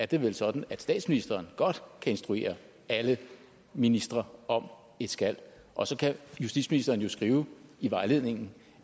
det er vel sådan at statsministeren godt kan instruere alle ministre om at skal og så kan justitsministeren skrive i vejledningen